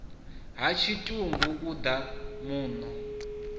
ha tshitumbu u ḓa muno